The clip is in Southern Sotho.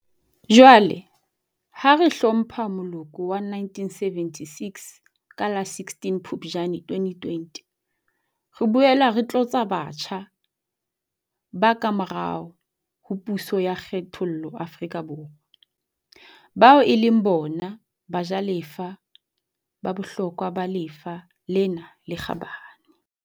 Jwale, ha re hlompha moloko wa 1976 ka la 16 Phuptjane 2020, re boela re tlotla batjha ba kamorao ho puso ya kgethollo Afrika Borwa, bao e leng bona bajalefa ba bohlokwa ba lefa lena le kgabane.